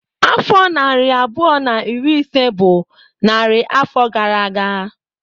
Afọ narị abụọ na iri ise bụ narị afọ gara aga.